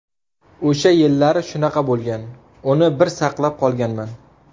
O‘sha yillari shunaqa bo‘lgan, uni bir saqlab qolganman.